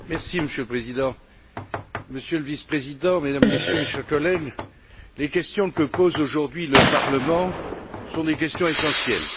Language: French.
Monsieur le Président, Monsieur le Vice président, Mesdames et Messieurs, mes chers collègues, les questions que pose aujourd'hui le Parlement sont des questions essentielles.